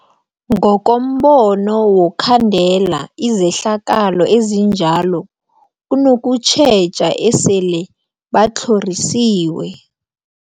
Ngokombono wokhandela izehlakalo ezinjalo kunokutjheja esele batlhorisiwe.